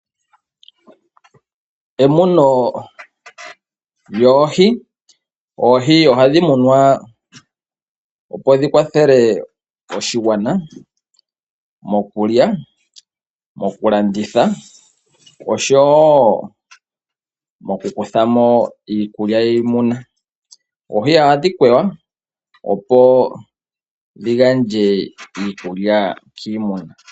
Emuno lyoohi. Oohi ohadhi munwa opo dhi kwathele oshigwana mokulya, mokulanditha, oshowo moku kutha mo iikulya yiimuna. Oohi ohadhi kwewa, opo dhi gandje iikulya kiimuna.